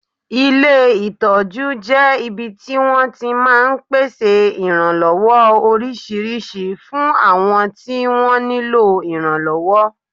Ilé ìtọ́jú jẹ́ ibi tí wọ́n ti máa ń pèsè ìrànlọ́wọ́ oríṣiríṣi fún àwọn tí wọ́n nílò ìrànlọ́wọ́